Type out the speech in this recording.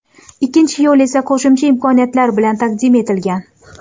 Ikkinchi yo‘l esa qo‘shimcha imkoniyatlar bilan taqdim etilgan.